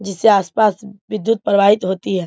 जिसे आस-पास विद्युत प्रवाहित होती है।